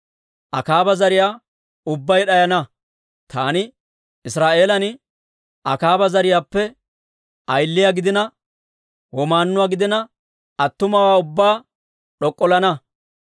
Akaaba zariyaa ubbay d'ayana; taani Israa'eelan Akaaba zariyaappe ayiliyaa gidina, womaannuwaa gidina, attumawaa ubbaa d'ok'ollana.